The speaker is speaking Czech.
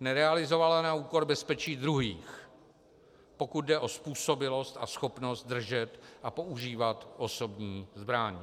nerealizovala na úkor bezpečí druhých, pokud jde o způsobilost a schopnost držet a používat osobní zbraň.